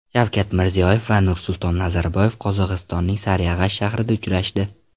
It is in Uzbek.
Shavkat Mirziyoyev va Nursulton Nazarboyev Qozog‘istonning Sariag‘ash shahrida uchrashdi.